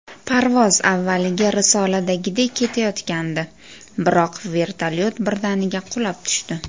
Parvoz avvaliga risoladagidek ketayotgandi, biroq vertolyot birdaniga qulab tushdi.